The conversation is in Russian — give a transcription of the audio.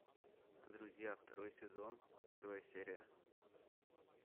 друзья второй сезон первая серия